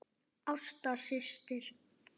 Ásta systir.